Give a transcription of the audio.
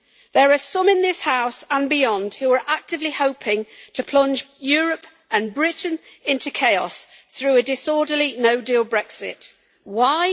There are some in this House and beyond who are actively hoping to plunge Europe and Britain into chaos through a disorderly no deal Brexit. Why?